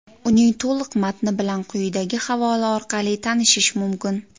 Uning to‘liq matni bilan quyidagi havola orqali tanishish mumkin.